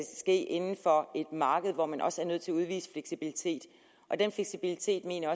ske inden for et marked hvor man også er nødt til at udvise fleksibilitet og den fleksibilitet mener